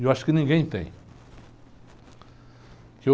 E eu acho que ninguém tem.